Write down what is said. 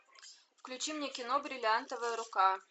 включи мне кино бриллиантовая рука